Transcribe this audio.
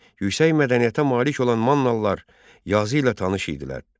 Yüksək mədəniyyətə malik olan Mannalılar yazı ilə tanış idilər.